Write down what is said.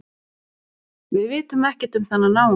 Við vitum ekkert um þennan náunga